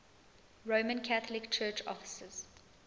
roman catholic church offices